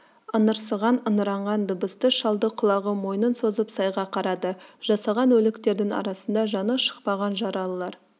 ыңырсыған ыңыранған дыбысты шалды құлағы мойнын созып сайға қарады жасаған өліктердің арасында жаны шықпаған жаралылар